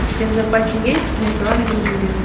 у тебя в запасе есть между ангелом и бесом